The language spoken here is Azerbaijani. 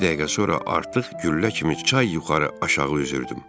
Bir dəqiqə sonra artıq güllə kimi çay yuxarı, aşağı üzürdüm.